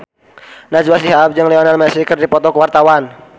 Najwa Shihab jeung Lionel Messi keur dipoto ku wartawan